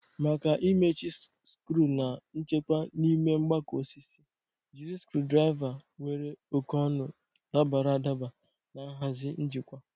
Maka imechi skru na nchekwa n'ime mgbakọ osisi, jiri screwdriver nwere oke n'ọnụ dabara adaba na nhazi njikwa.